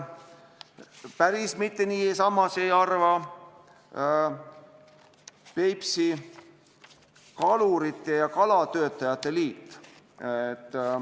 Päris nii ei arva Peipsi Kalurite ja Kalatöötlejate Liit.